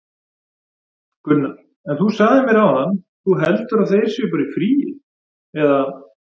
Gunnar: En þú sagðir mér áðan, þú heldur að þeir séu bara í fríi, eða?